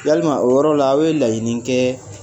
Yalima o yɔrɔ la a ye laɲini kɛ?